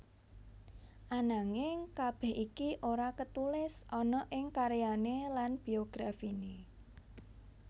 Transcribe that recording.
Ananging kabeh iki ora ketulis ana ing karyane lan biografine